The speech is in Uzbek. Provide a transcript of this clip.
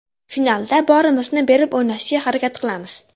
Finalda borimizni berib o‘ynashga harakat qilamiz.